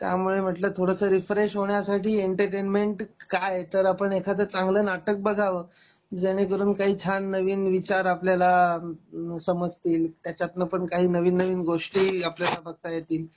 त्यामुळे म्हणल थोडस रीफ्रेश होण्यासाठी एंटरटेनमेंट काय तर आपण एखाद चांगल नाटक बघाव जेणेकरून काही छान नवीन विचार आपल्याला समजतील त्याच्यातन पण काही नवीन नवीन गोष्टी आपल्याला बघता येतील